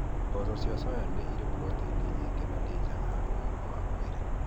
Mboco cia soya nĩ irĩ protein nyingĩ na nĩ njega harĩ ũgima wa mwĩrĩ.